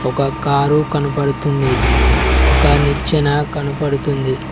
ఒక కారు కనపడుతుంది ఒక నిచ్చెన కనపడుతుంది.